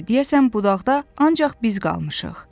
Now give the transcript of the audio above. Deyəsən budaqda ancaq biz qalmışıq.